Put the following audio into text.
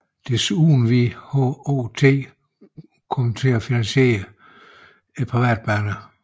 Desuden ville HOT komme til at finansiere privatbanerne